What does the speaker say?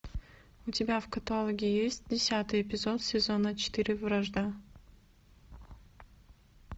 у тебя в каталоге есть десятый эпизод сезона четыре вражда